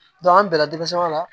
an bila denmisɛnnin la